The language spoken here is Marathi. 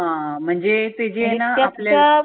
हा म्हणजे म्हणजे ते जे आहे ना आपल्या